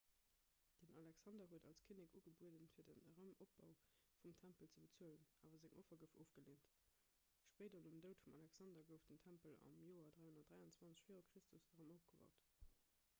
den alexander huet als kinnek ugebueden fir den erëmopbau vum tempel ze bezuelen awer seng offer gouf ofgeleent spéider nom doud vum alexander gouf den tempel am joer 323 v chr erëm opgebaut